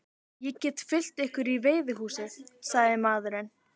Ég get fylgt ykkur í veiðihúsið, sagði maðurinn.